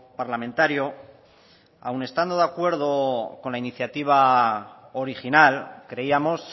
parlamentario aun estando de acuerdo con la iniciativa original creíamos